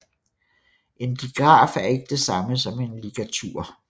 En digraf er ikke det samme som en ligatur